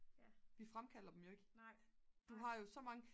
vi fremkalder dem jo ikke du har jo så mange